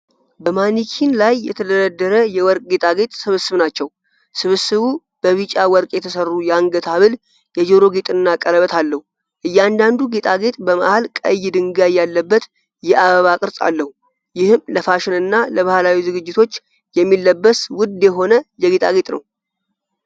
በማኒኪን ላይ የተደረደረ የወርቅ ጌጣጌጥ ስብስብ ናቸው። ስብስቡ በቢጫ ወርቅ የተሠሩ የአንገት ሐብል፣ የጆሮ ጌጥና ቀለበት አለው። እያንዳንዱ ጌጣጌጥ በመሃል ቀይ ድንጋይ ያለበት የአበባ ቅርጽ አለው። ይህም ለፋሽንና ለባህላዊ ዝግጅቶች የሚለበስ ውድ የሆነ የጌጣጌጥ ነው።